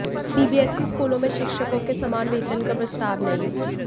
CBSE स्कूलों में शिक्षकों के समान वेतन का प्रस्ताव नहीं